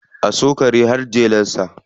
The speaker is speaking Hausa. A so kare har jelarsa.